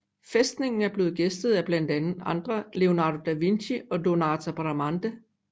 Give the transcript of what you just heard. Fæstningen er blevet gæstet af blandt andre Leonardo da Vinci og Donato Bramante